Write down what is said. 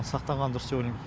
сақтанған дұрыс деп ойлаймын